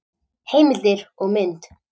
Heimildir og mynd: